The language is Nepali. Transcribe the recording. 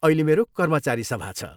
अहिले मेरो कर्मचारी सभा छ।